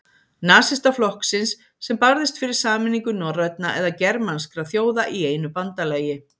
Nasistaflokksins, sem barðist fyrir sameiningu norrænna eða germanskra þjóða í einu bandalagi.